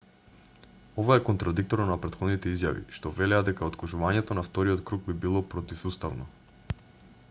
ова е контрадикторно на претходните изјави што велеа дека откажувањето на вториот круг би било противуставно